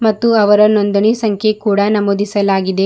ಮತ್ತು ಅವರ ನೋಂದಣಿ ಸಂಖ್ಯೆ ಕೂಡ ನಮೋದಿಸಲಾಗಿದೆ.